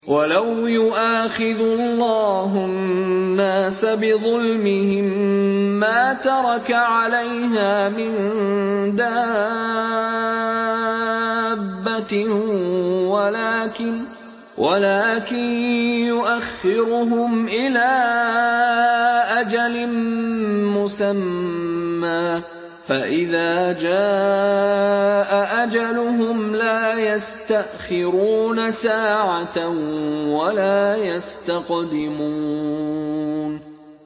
وَلَوْ يُؤَاخِذُ اللَّهُ النَّاسَ بِظُلْمِهِم مَّا تَرَكَ عَلَيْهَا مِن دَابَّةٍ وَلَٰكِن يُؤَخِّرُهُمْ إِلَىٰ أَجَلٍ مُّسَمًّى ۖ فَإِذَا جَاءَ أَجَلُهُمْ لَا يَسْتَأْخِرُونَ سَاعَةً ۖ وَلَا يَسْتَقْدِمُونَ